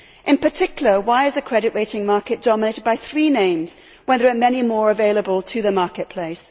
In particular, why is the credit rating market dominated by three names when there are many more available to the marketplace?